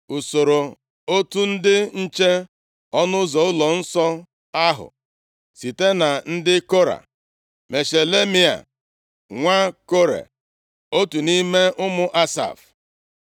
Usoro otu ndị nche ọnụ ụzọ ụlọnsọ ahụ. Site na ndị Kora: Meshelemaia, nwa Kore, otu nʼime ụmụ Asaf.